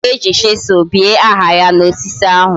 Oga eji chisel bie aha ya na osisi ahu